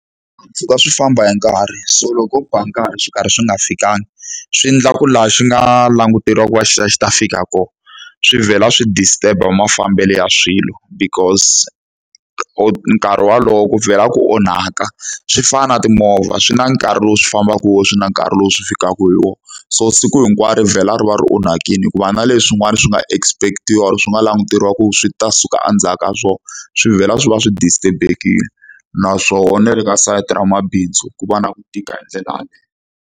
Swi famba hi nkarhi so loko ba nkarhi swi karhi swi nga fikangi swi endlaku laha xi nga languteriwa ku va xi ta xi ta fika kona swi vhela swi disturb-a mafambelo ya swilo because nkarhi wolowo ku vhela ku onhaka swi fana na timovha swi na nkarhi lowu swi fambaka hi wona swi na nkarhi lowu swi fikaka hi wona so siku hinkwaro vhela ri vhela ri onhakile hikuva na leswin'wana swi nga expect-iwa or swi nga languteriwa ku swi ta suka endzhaku ka swona swi vhela swi va swi distrurb-ekile naswona na le ka sayiti ra mabindzu ku va na ku tika hi ndlela yaleyo.